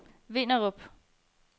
Vinderup